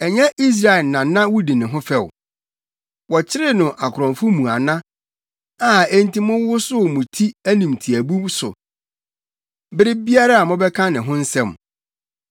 Ɛnyɛ Israel na na wudi ne ho fɛw? Wɔkyeree no akorɔmfo mu ana, a enti mowosow mo ti animtiaabu so bere biara a mobɛka ne ho asɛm?